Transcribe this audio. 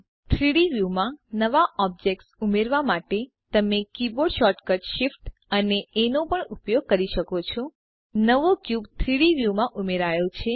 3ડી વ્યુ માં નવા ઑબ્જેક્ટ્સ ઉમેરવા માટે તમે કીબોર્ડ શોર્ટકટ શિફ્ટ અને એ નો પણ ઉપયોગ કરી શકો છો નવો ક્યુબ 3ડી વ્યુંમાં ઉમેરાયો છે